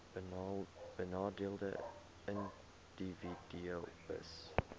benadeelde individue hbis